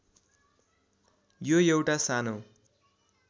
यो एउटा सानो